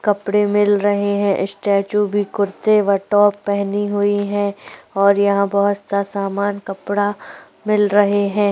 कपड़े मिल रहे है स्टैचू भी कुर्ते कटऑफ का पहनी हुई हैऔर यहाँ पर बहोत सारा सामान कपड़ा मिल रहे हैं।